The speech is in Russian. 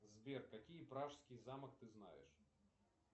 сбер какие пражский замок ты знаешь